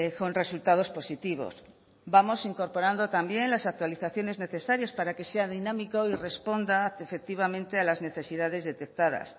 con resultados positivos vamos incorporando también las actualizaciones necesarias para que sea dinámico y responda efectivamente a las necesidades detectadas